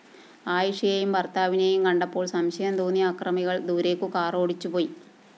അയിഷയെയും ഭര്‍ത്താവിനെയും കണ്ടപ്പോള്‍ സംശയം തോന്നിയ ആക്രമികള്‍ ദൂരേക്കു കാറോടിച്ചുപോയി